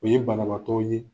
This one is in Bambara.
O ye banabaatɔ ye